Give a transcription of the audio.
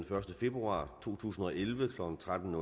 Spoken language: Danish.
første februar to tusind og elleve klokken tretten